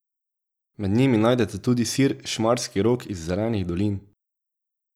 Med njimi najdete tudi sir Šmarski Rok iz Zelenih Dolin.